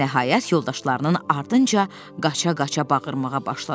Və nəhayət yoldaşlarının ardınca qaça-qaça bağırmağa başladı: